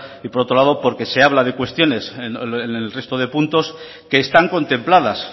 y por otro lado porque se habla de cuestiones en el resto de puntos que están contempladas